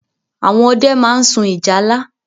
Àwọn ọdẹ máa ń sun ìjálá.